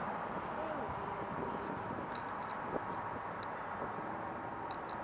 eo ho ne ho le